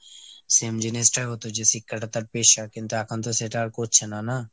same জিনিসটাই হতো যে শিক্ষাটা তার পেশা। কিন্তু এখনতো সেটা আর করছেনা না।